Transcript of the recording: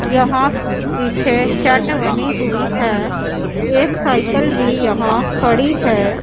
यहां पीछे शेड बनी हुई है एक साइकल भी यहां खड़ी है।